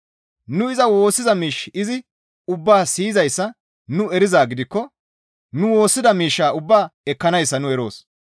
Nu iza woossiza miish izi ubbaa siyizayssa nu erizaa gidikko nu woossida miishshaa ubbaa ekkanayssa nu eroos.